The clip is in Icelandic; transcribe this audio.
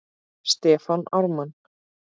Stefán Ármann.